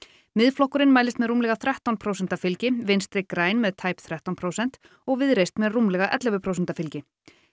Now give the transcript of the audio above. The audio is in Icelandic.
Miðflokkurinn mælist með rúmlega þrettán prósenta fylgi Vinstri græn með tæp þrettán prósent og Viðreisn með rúmlega ellefu prósenta fylgi